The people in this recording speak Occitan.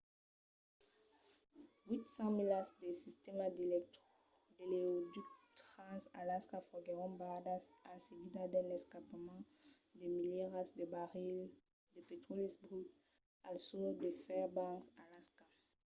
800 milas del sistèma d'oleoducte trans-alaska foguèron barradas en seguida d’un escampament de milierats de barrils de petròli brut al sud de fairbanks alaska